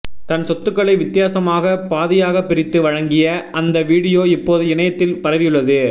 தன் சொத்துக்களை வித்தியாசமாக பாதியாக பிரித்து வழங்கிய அந்த வீடியோ இப்போது இணையத்தில் பரவியுள்ளது